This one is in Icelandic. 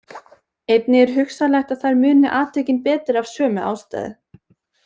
Einnig er hugsanlegt að þær muni atvikin betur af sömu ástæðu.